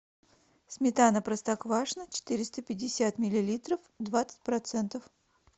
сметана простоквашино четыреста пятьдесят миллилитров двадцать процентов